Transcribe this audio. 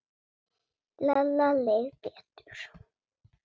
Lalla leið betur.